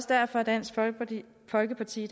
derfor dansk folkeparti folkeparti